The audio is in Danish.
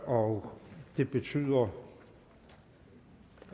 og det betyder